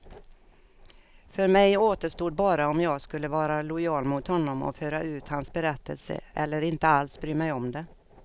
För mig återstod bara om jag skulle vara lojal mot honom och föra ut hans berättelse, eller inte alls bry mig om det.